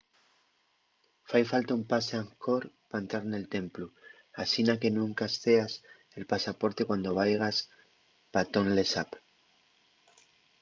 fai falta un pase angkor pa entrar nel templu asina que nun escaezas el pasaporte cuando vaigas pa tonle sap